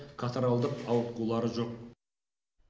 катаральдік ауытқулары жоқ